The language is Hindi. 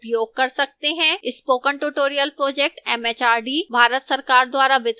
spoken tutorial project mhrd Bharat सरकार द्वारा वित्त पोषित है